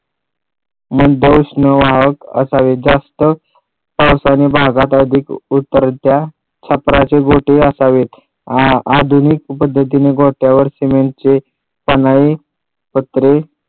मंद उष्ण वाहक असावे जास्त असावेत भागात उतरत्या छत्राचे गोठे असावेत आधुनिक पद्धतीने गोठ्यावर सिमेंट चे पन्हाळे पत्रे